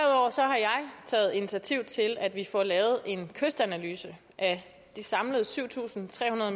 taget initiativ til at vi får lavet en kystanalyse af de samlede syv tusind tre hundrede